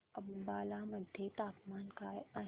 अंबाला मध्ये तापमान काय आहे